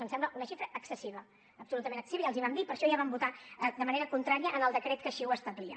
ens sembla una xifra excessiva absolutament excessiva ja els hi vam dir per això ja vam votar de manera contrària en el decret que així ho establia